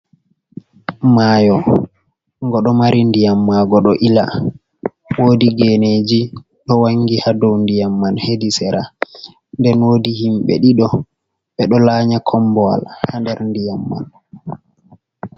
Mayo go do mari ndiyam mago do ila, wodi geneji do wangi hado ndiyam man hedi sera den wodi himbe dido be do laanya kombowal ha der ndiyam man.